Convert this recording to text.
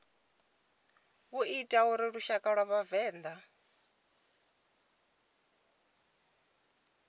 ita uri lushaka lwa vhavenḓa